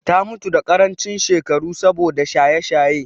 Ta mutu a ƙarancin shekaru saboda shaye-shaye.